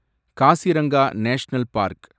Kaziranga national park